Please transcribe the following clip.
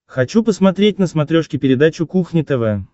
хочу посмотреть на смотрешке передачу кухня тв